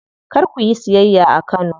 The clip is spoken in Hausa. Kar kuyi siyayya a Kano.